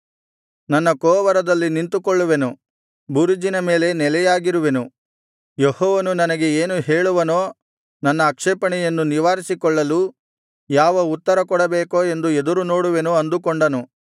ನನ್ನ ಕೋವರದಲ್ಲಿ ನಿಂತುಕೊಳ್ಳುವೆನು ಬುರುಜಿನ ಮೇಲೆ ನೆಲೆಯಾಗಿರುವೆನು ಯೆಹೋವನು ನನಗೆ ಏನು ಹೇಳುವನೋ ನನ್ನ ಆಕ್ಷೇಪಣೆಯನ್ನು ನಿವಾರಿಸಿಕೊಳ್ಳಲು ಯಾವ ಉತ್ತರ ಕೊಡಬೇಕೋ ಎಂದು ಎದುರುನೋಡುವೆನು ಅಂದುಕೊಂಡನು